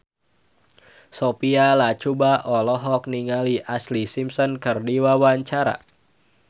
Sophia Latjuba olohok ningali Ashlee Simpson keur diwawancara